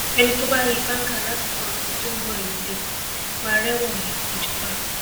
ẹni tó bá yín báńgá lásìkò ọdún tó ń bọ yìí lẹkọọ máa rẹwọn he ìjọba